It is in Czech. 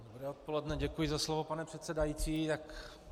Dobré odpoledne, děkuji za slovo, pane předsedající.